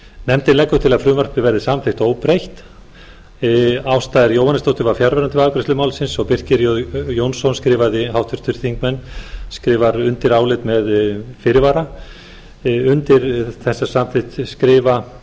nefndin leggur til að frumvarpið verði samþykkt óbreytt háttvirtur þingmaður ásta r jóhannesdóttir var fjarverandi við afgreiðslu málsins og birkir j jónsson háttvirtur þingmaður skrifar undir álit með fyrirvara undir þessa samþykkt skrifa